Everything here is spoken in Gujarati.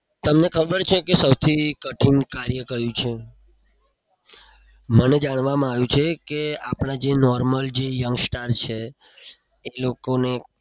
તમને ખબર છે કે સૌથી કઠિન કાર્ય કયું છે? મને જાણવામાં આવ્યું છે કે આપણા જે normal જે young star છે એ લોકોને